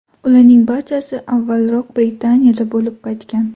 ularning barchasi avvalroq Britaniyada bo‘lib qaytgan.